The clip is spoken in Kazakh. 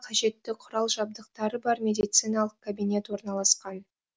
қажетті құрал жабдықтары бар медициналық кабинет орналасқан